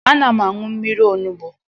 Ana m aṅụ mmiri onugbo.